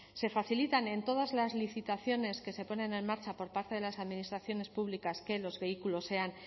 se facilita en todas las licitaciones que se ponen en marcha por parte de las administraciones públicas que los vehículos sean